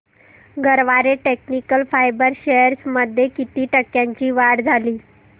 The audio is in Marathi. गरवारे टेक्निकल फायबर्स शेअर्स मध्ये किती टक्क्यांची वाढ झाली